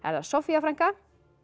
það Soffía frænka